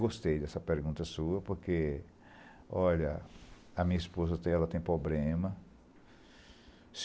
Gostei dessa pergunta sua, porque, olha, a minha esposa até ela tem pobrema.